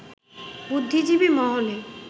বুদ্ধিজীবি মহলে